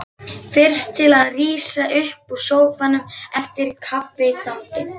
Fyrst til að rísa upp úr sófanum eftir kaffiþambið.